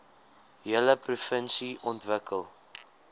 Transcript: hele provinsie ontwikkel